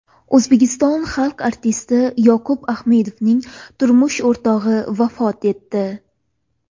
O‘zbekiston xalq artisti Yoqub Ahmedovning turmush o‘rtog‘i vafot etdi.